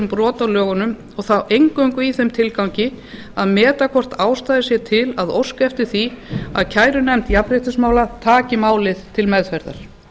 brot á lögunum og þá eingöngu í þeim tilgangi að meta hvort ástæða sé til að óska eftir því að kærunefnd jafnréttismála taki málið til meðferðar